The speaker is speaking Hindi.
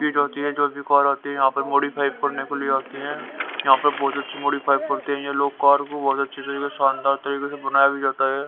की जो होती है जो भी कार आती है यहां पर मॉडिफाई करने के लिए आती है यहां पर बहुत अच्छी मॉडिफाई करते हैं ये लोग कार को बहुत अच्छी तरीके से शानदार तरीके से बनाया भी जाता है।